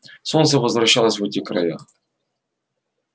солнце возвращалось в эти края